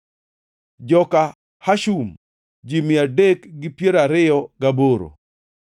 joka Hashum, ji mia adek gi piero ariyo gaboro (328),